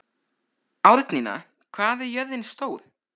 Árnína, hvað er jörðin stór?